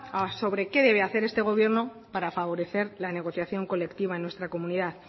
sobre que debe hacer este gobierno para favorecer la negociación colectiva en nuestra comunidad